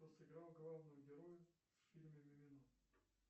кто сыграл главного героя в фильме мимино